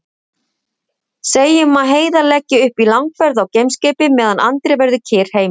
Segjum að Heiðar leggi upp í langferð á geimskipi meðan Andri verður kyrr heima.